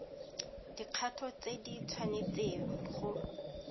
dikgato tse di tshwanetseng go